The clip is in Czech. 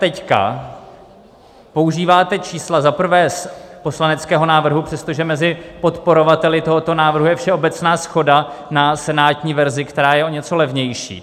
Teď používáte čísla za prvé z poslaneckého návrhu, přestože mezi podporovateli tohoto návrhu je všeobecná shoda na senátní verzi, která je o něco levnější.